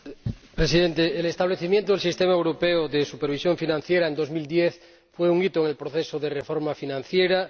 Señor Presidente, el establecimiento del Sistema Europeo de Supervisión Financiera en 2010 fue un hito en el proceso de reforma financiera